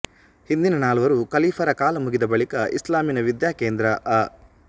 ಹಿಂದಿನ ನಾಲ್ವರು ಕಲೀಫರ ಕಾಲ ಮುಗಿದ ಬಳಿಕ ಇಸ್ಲಾಮಿನ ವಿದ್ಯಾಕೇಂದ್ರ ಆ